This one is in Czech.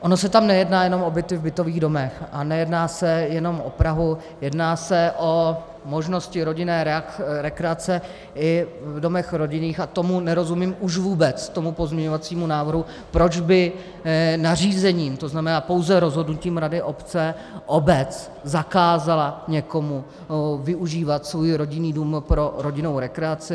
Ono se tam nejedná jenom o byty v bytových domech a nejedná se jenom o Prahu, jedná se o možnosti rodinné rekreace i v domech rodinných, a tomu nerozumím už vůbec, tomu pozměňovacímu návrhu, proč by nařízením, to znamená pouze rozhodnutím rady obce, obec zakázala někomu využívat svůj rodinný dům pro rodinnou rekreaci.